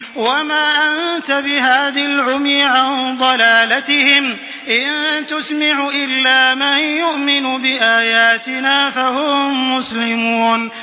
وَمَا أَنتَ بِهَادِ الْعُمْيِ عَن ضَلَالَتِهِمْ ۖ إِن تُسْمِعُ إِلَّا مَن يُؤْمِنُ بِآيَاتِنَا فَهُم مُّسْلِمُونَ